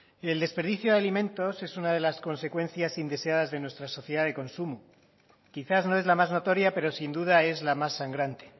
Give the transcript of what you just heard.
el desperdicio de alimentos es una de las consecuencias indeseadas de nuestra sociedad de consumo quizás no es la más notoria pero sin duda es la más sangrante